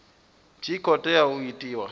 tshi khou tea u itiwa